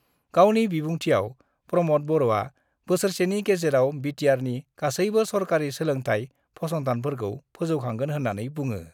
गावनि बिबुंथियाव प्रमद बर'आ बोसोरसेनि गेजेराव बिटिआरनि गासैबो सरकारि सोलोंथाइ फसंथानफोरखौ फोजौखांगोन होन्नानै बुङो।